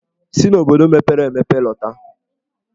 Si n'obodo mepere emepe lọta!